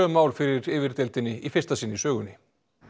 mál fyrir yfirdeildinni í fyrsta sinn í sögunni